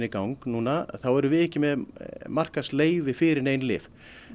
gang núna þá erum við ekki með markaðsleyfi fyrir nein lyf